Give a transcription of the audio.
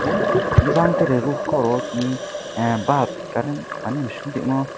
pio hingke tere roof koro tini ah balp current mani moshong tongmo.